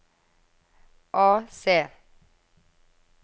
AC